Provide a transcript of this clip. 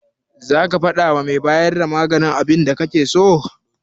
Zaka faɗawa mai bayar da maganin abinda kake so?